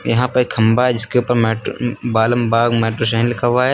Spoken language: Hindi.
यहां पे एक खंभा है जिसके पर मैट बालम बाग लिखा हुआ है।